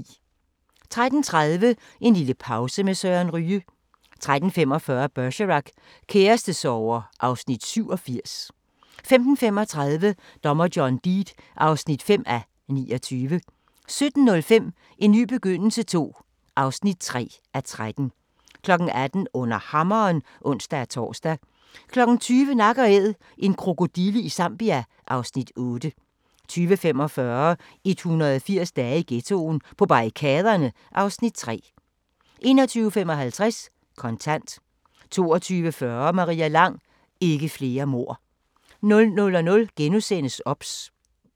13:30: En lille pause med Søren Ryge 13:45: Bergerac: Kærestesorger (Afs. 87) 15:35: Dommer John Deed (5:29) 17:05: En ny begyndelse II (3:13) 18:00: Under Hammeren (ons-tor) 20:00: Nak & Æd – en krokodille i Zambia (Afs. 8) 20:45: 180 dage i ghettoen: På barrikaderne (Afs. 3) 21:55: Kontant 22:40: Maria Lang: Ikke flere mord 00:00: OBS *